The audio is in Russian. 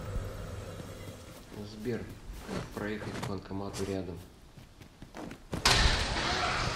сбер как проехать к банкомату рядом